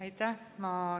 Aitäh!